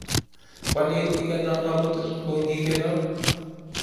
Kwaleen igeno amut kongigenoo